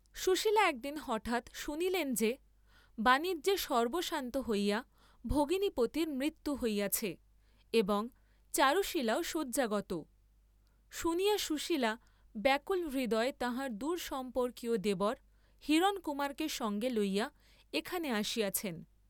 সুশীলা একদিন হঠাৎ শুনিলেন যে, বাণিজ্যে সর্ব্বস্বান্ত হইয়া ভগিনীপতির মৃত্যু হইয়াছে, এবং চারুশীলাও শয্যাগত; শুনিয়া সুশীলা ব্যাকুল হৃদয়ে তাঁহার দূর সম্পর্কীয় দেবর হিরণকুমারকে সঙ্গে লইয়া এখানে আসিয়াছেন।